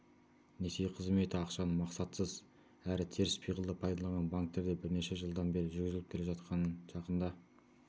несие қызметі ақшаны мақсатсыз әрі теріс пиғылда пайдаланған банктерде бірнеше жылдан бері жүргізіліп келе жатқанын жақында